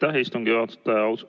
Aitäh, istungi juhataja!